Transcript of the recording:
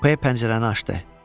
P pəncərəni açdı.